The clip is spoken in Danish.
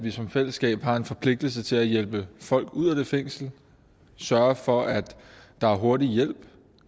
vi som fællesskab har en forpligtelse til at hjælpe folk ud af det fængsel sørge for at der er hurtig hjælp